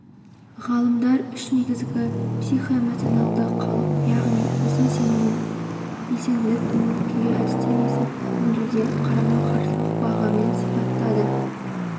ғалымдар үш негізгі психоэмоционалды қалып яғни өзін сезінуі белсенділік көңіл-күй әдістемесін өңдеуде қарама-қарсылық бағамен сипаттады